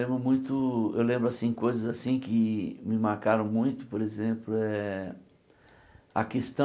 Lembro muito eu lembro assim coisas assim que me marcaram muito, por exemplo eh, a questão